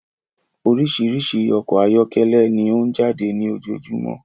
Orísirísi ọkọ ayọkẹlẹ ni ọ n jáde ní ojojúmọ́